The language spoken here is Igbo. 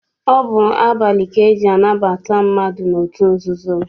Ọ bụ abalị ka eji anabata mmadụ n'otu nzuzo.